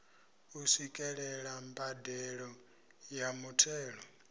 u swikelela mbadelo ya muthelo